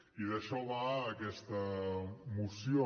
i d’això va aquesta moció